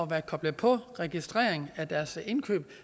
være koblet på registrering af deres indkøb